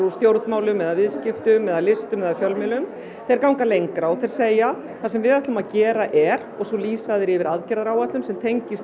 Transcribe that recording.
stjórnmálum viðskiptum listum eða fjölmiðlum þeir ganga lengra og þeir segja það sem við ætlum að gera er og svo lýsa þeir yfir aðgerðaráætlun sem tengjast